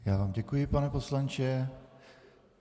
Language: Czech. Já vám děkuji, pane poslanče.